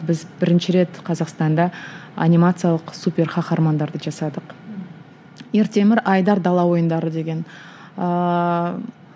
біз бірінші рет қазақстанда анимациялық супер қаһармандарды жасадық ертемір айдар дала ойындары деген ыыы